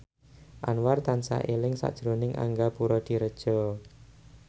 Anwar tansah eling sakjroning Angga Puradiredja